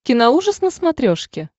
киноужас на смотрешке